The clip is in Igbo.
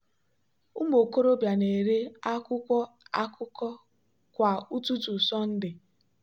ụmụ okorobịa na-ere akwụkwọ akụkọ kwa ụtụtụ sunday.